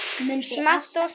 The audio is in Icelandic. Smátt og smátt eykst færnin.